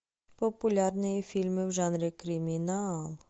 популярные фильмы в жанре криминал